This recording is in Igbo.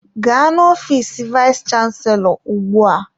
Gaa n'ofiis vayis chansilọ ugbu a!